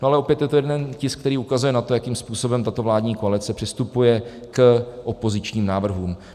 No ale opět je to jeden tisk, který ukazuje na to, jakým způsobem tato vládní koalice přistupuje k opozičním návrhům.